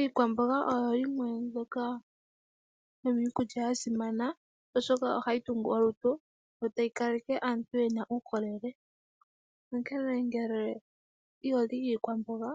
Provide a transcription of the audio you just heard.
Iikwamboga oyo yimwe yomiikulya ya simana, oshoka ohayi tungu olutu yo tayi kaleke aantuu yena uukolele, onkee ngele iholi iikwamboga